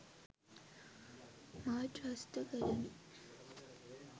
මා ත්‍රස්ත කරමි.